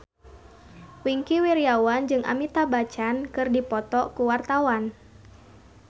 Wingky Wiryawan jeung Amitabh Bachchan keur dipoto ku wartawan